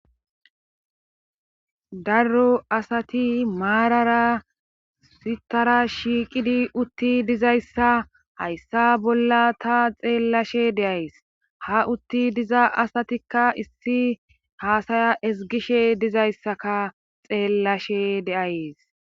darro asati maarara sitara shiiqidi utti dizayssa hayssa bolla ta xeellashe deays ha utti diza asatikka issi haasaya esgishe dizayssaka xeellashe deayes